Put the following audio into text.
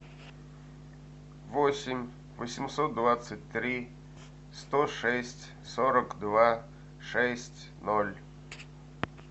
восемь восемьсот двадцать три сто шесть сорок два шесть ноль